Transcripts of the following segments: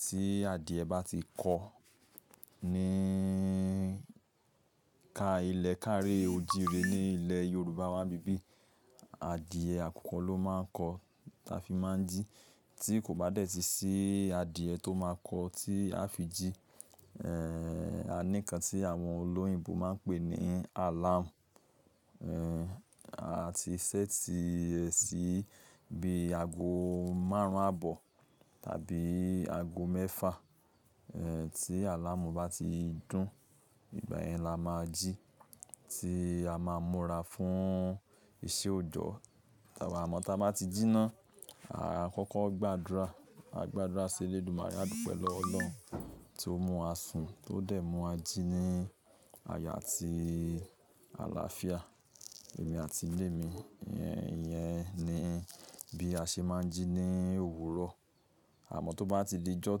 Tí adìẹ bá ti kọ̀ ní ká ilẹ̀ ká ri òjìí re ní ilẹ̀ Yorùbá wa n bíbí, adìẹ àkukọ́ ló máa ń kọ̀ táa fi máa ń jí. Tí kò bá dẹ́ ti sí adìẹ tó máa kọ̀ tí a fi jí, ẹ́ àní kan tí àwọn olóyìnbo máa ń pè ní alamú, ẹ́ a ti ṣẹ́ ti ẹ sí bí ago maárùn àbọ̀ tàbí ago mẹ́fà, ẹ́ tí alamú bá ti dún, ìgbà yẹn la máa jí, tí a máa múra fún iṣẹ́ òjọ̀. Àmọ́ tí a bá ti jí naa, a kọ́kọ́ gbàdúrà. A gbàdúrà sí Elédumàré Àdúpẹ́ lọ́wọ́ Ọlọ́un to mú wa sùn, tó dẹ̀ mú wa jí ní aya àti àlàáfíà, èmi àti ilé mi. I Ìyẹn ni bí a ṣe máa ń jí ní òwúrọ̀. Àmọ́ tó bá ti di ijọ́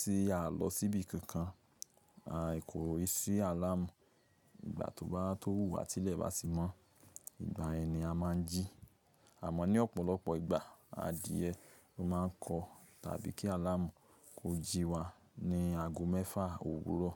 tí à ń lọ síbi kankan, a ìkòrí sí alamú. Ìgbà tó bá tó wùú àti ilẹ̀ bá ti mọ́, ìgbà yẹn ni a máa ń jí. Àmọ́ ní ọ̀pọ̀lọpọ̀ ìgbà adìẹ ló máa ń kọ̀ tàbí kí alamú kó jí wa ní ago mẹ́fà òwúrọ̀.